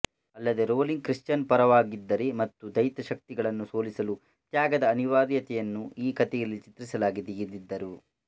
ಅಲ್ಲದೇ Rowling Christian ಪರವಾಗಿದ್ದಾರೆ ಮತ್ತು ದೈತ ಶಕ್ತಿಗಳನ್ನು ಸೋಲಿಸಲು ತ್ಯಾಗದ ಅನಿವಾರ್ಯತೆಯನ್ನು ಈ ಕಥೆಗಳಲ್ಲಿ ಚಿತ್ರಿಸಲಾಗಿದೆ ಎಂದಿದ್ದರು